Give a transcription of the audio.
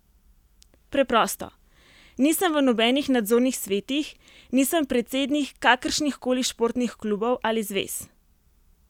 Preprosto: "Nisem v nobenih nadzornih svetih, nisem predsednik kakršnihkoli športnih klubov ali zvez.